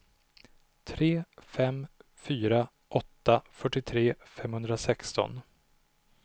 tre fem fyra åtta fyrtiotre femhundrasexton